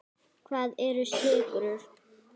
Hvað eru sykrur?